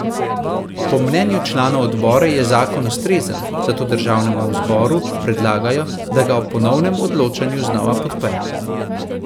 Po mnenju članov odbora je zakon ustrezen, zato državnemu zbora predlagajo, da ga ob ponovnem odločanju znova podpre.